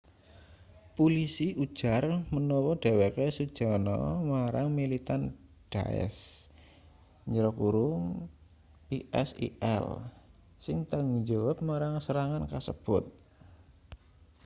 pulisi ujar manawa dheweke sujana marang militan daesh isil sing tanggungjawab marang serangan kasebut